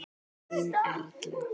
Þín Erla.